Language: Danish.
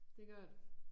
Det gør det